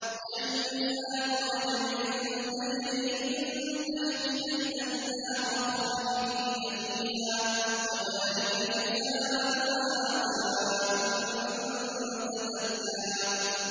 جَنَّاتُ عَدْنٍ تَجْرِي مِن تَحْتِهَا الْأَنْهَارُ خَالِدِينَ فِيهَا ۚ وَذَٰلِكَ جَزَاءُ مَن تَزَكَّىٰ